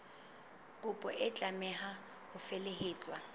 kopo e tlameha ho felehetswa